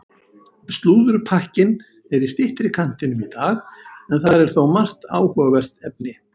Slúðurpakkinn er í styttri kantinum í dag en þar er þó margt áhugavert efni.